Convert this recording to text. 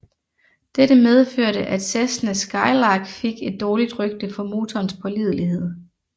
Dette medførte at Cessna Skylark fik et dårligt rygte for motorens pålidelighed